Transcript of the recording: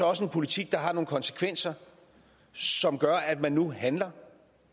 også en politik der har nogle konsekvenser som gør at man nu handler